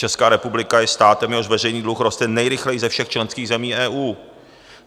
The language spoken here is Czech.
Česká republika je státem, jehož veřejný dluh roste nejrychleji ze všech členských zemí EU.